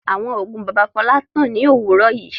Àwọn oògùn bàbá Fọlá tán ní òwúrọ̀ yìí.